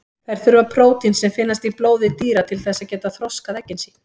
Þær þurfa prótín sem finnst í blóði dýra til þess að geta þroskað eggin sín.